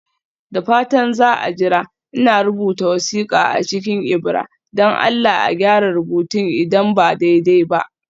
Da fatan za a jira, ina rubuta wasiƙa a cikin ibira (don Allah a gyara rubutun idan ba daidai ba)